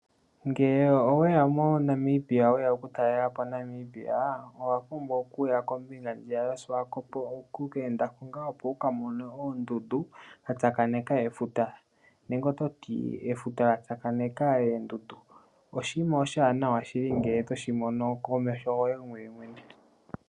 Ngele owe ya moNamibia we ya okutalela po Namibia, owa pumbwa okuya koombinga ndhiya dhoSiwakopo, oku ka enda ko ngaa opo wu ka mone oondundu dha tsakaneka efuta nenge oto ti efuta lya tsakanena oondundu. Oshinima oshiwanawa shili ngele to shi mono komeho goye mwene.